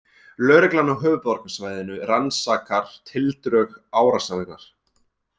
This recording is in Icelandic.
Lögreglan á höfuðborgarsvæðinu rannsakar tildrög árásarinnar